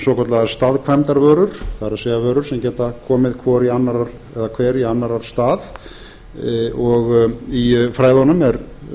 svokallaðar staðkvæmdarvörur það er vörur sem geta komið hver í annarrar stað og í fræðunum er